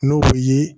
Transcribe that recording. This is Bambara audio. N'o bɛ ye